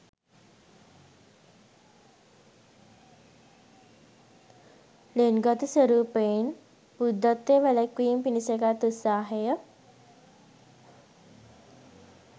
ළෙන්ගතු ස්වරූපයෙන් බුද්ධත්වය වැළැක්වීම පිණිස ගත් උත්සාහය